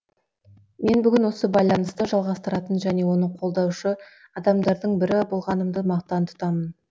мен бүгін осы байланысты жалғастыратын және оны қолдаушы адамдардың бірі болғанымды мақтан тұтамын